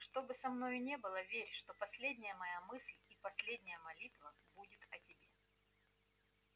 что бы со мною ни было верь что последняя моя мысль и последняя молитва будет о тебе